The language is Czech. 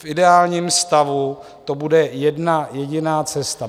V ideálním stavu to bude jedna jediná cesta.